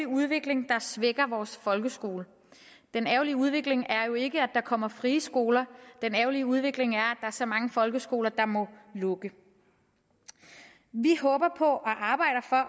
udvikling der svækker vores folkeskole den ærgerlige udvikling er jo ikke at der kommer frie skoler den ærgerlige udvikling er at er så mange folkeskoler der må lukke vi håber på